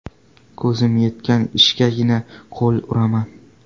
Ko‘zim yetgan ishgagina qo‘l uraman.